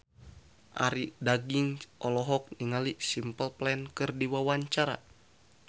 Arie Daginks olohok ningali Simple Plan keur diwawancara